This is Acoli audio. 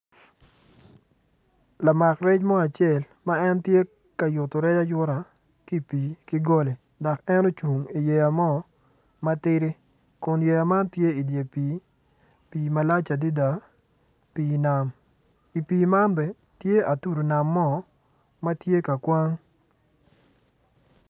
Lamak rec mo acel ma en tye ka yuto rec ayuta ki pi ki goli dok en ocung i yeya mo matidi kun yeya man tye i dyer pi, pii malac adada pii nam i pi man bene tye atudu i nam mo matye ka kwang.